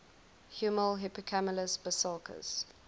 huemul hippocamelus bisulcus